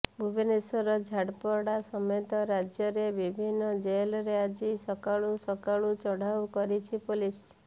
ଭୁବନେଶ୍ୱର ଝାରପଡା ସମେତ ରାଜ୍ୟର ବିଭିନ୍ନ ଜେଲରେ ଆଜି ସକାଳୁ ସକାଳୁ ଚଢାଉ କରିଛି ପୁଲିସ୍